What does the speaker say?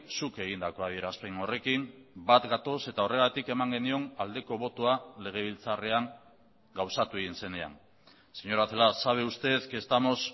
zuk egindako adierazpen horrekin bat gatoz eta horregatik eman genion aldeko botoa legebiltzarrean gauzatu egin zenean señora celaá sabe usted que estamos